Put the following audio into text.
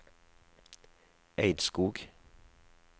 Eidskog